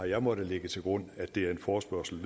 jeg måttet lægge til grund at det er en forespørgsel